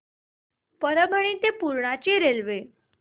परभणी ते पूर्णा ची रेल्वे